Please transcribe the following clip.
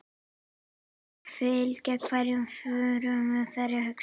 Fyllir hverja frumu, hverja hugsun.